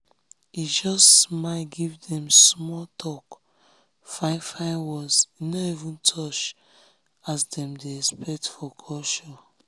he just smile give dem smalltalk fine fine words he no even touch as dem dey expect for culture.